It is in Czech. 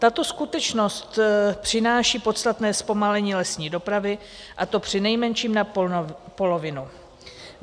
Tato skutečnost přináší podstatné zpomalení lesní dopravy, a to přinejmenším na polovinu.